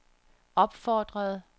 opfordrede